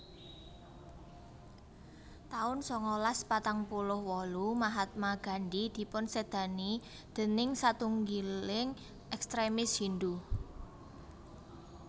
taun sangalas patang puluh wolu Mahatma Gandhi dipunsédani déning satunggiling ekstremis Hindhu